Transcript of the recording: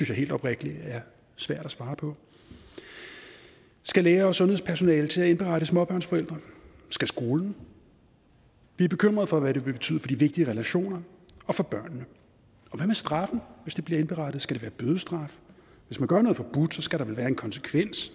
jeg helt oprigtigt er svært at svare på skal læger og sundhedspersonale til at indberette småbørnsforældre skal skolen vi er bekymret for hvad det vil betyde for de vigtige relationer og for børnene og hvad med straffen hvis det bliver indberettet skal det være bødestraf hvis man gør noget forbudt og skal der vel være en konsekvens